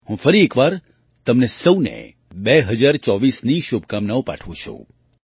હું ફરી એક વાર તમને સહુને 2024ની શુભકામનાઓ પાઠવું છું